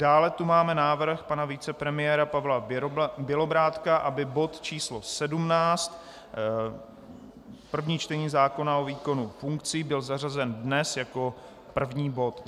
Dále tu máme návrh pana vicepremiéra Pavla Bělobrádka, aby bod číslo 17, první čtení zákona o výkonu funkcí, byl zařazen dnes jako první bod.